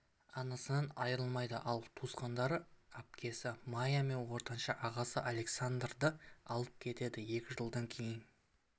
анасынан айырмайды ал туысқандары әпкесі мая мен ортаншы ағасы александрды алып кетеді екі жылдан кейін